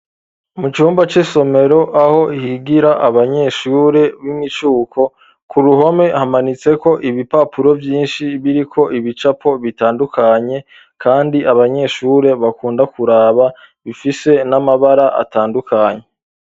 mu cumba c'isomero aho higira abanyeshure b'imicuko ku ruhome hamanitseko ibipapuro vyinshi biriko ibicapo bitandukanye, kandi abanyeshure bakunda kuraba bifise n'amabara atandukanye.